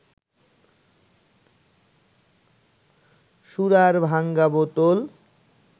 সুরার ভাঙা বোতল